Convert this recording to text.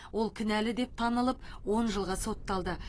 ол кінәлі деп танылып он жылға сотталды